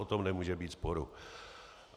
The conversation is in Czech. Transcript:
O tom nemůže být sporu.